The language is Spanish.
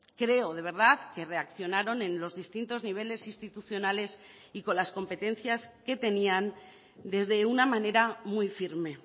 creo de verdad que reaccionaron en los distintos niveles institucionales y con las competencias que tenían desde una manera muy firme